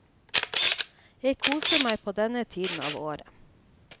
Jeg koser meg på denne tiden av året.